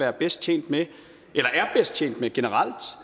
er bedst tjent med tjent med generelt